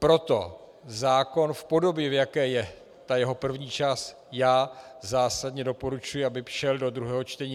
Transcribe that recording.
Proto zákon v podobě, v jaké je ta jeho první část, já zásadně doporučuji, aby šel do druhého čtení.